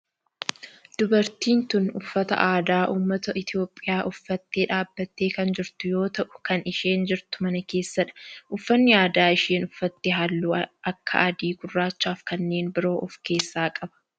Dubartiin tun uffata aadaa ummata Itiyoophiyaa uffattee dhaabbattee kan jirtu yoo ta'u kan isheen jirtu mana keessadha. Uffanni aadaa isheen uffatte halluu akka adii, gurraachaa fi kanneen biroo of keessaa qaba.